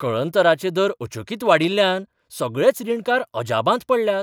कळंतराचे दर अचकीत वाडिल्ल्यान सगळेच रीणकार अजापांत पडल्यात.